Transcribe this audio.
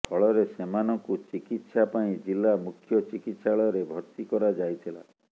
ଫଳରେ ସେମାନଙ୍କୁ ଚିକିତ୍ସା ପାଇଁ ଜିଲ୍ଲା ମୁଖ୍ୟ ଚିକିତ୍ସାଳୟରେ ଭର୍ତ୍ତି କରାଯାଇଥିଲା